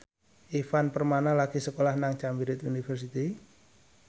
Ivan Permana lagi sekolah nang Cambridge University